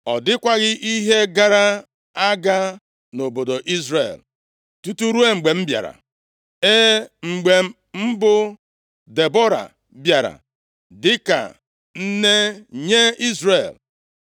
Ọ dịkwaghị ihe gara aga nʼobodo Izrel, tutu ruo mgbe m bịara, ee, mgbe m bụ Debọra bịara dịka nne nye Izrel.